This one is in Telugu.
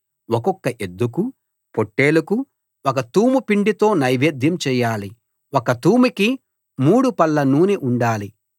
ఒక్కొక్క ఎద్దుకు పొట్టేలుకు ఒక తూము పిండితో నైవేద్యం చేయాలి ఒక్క తూముకి మూడు పళ్ల నూనె ఉండాలి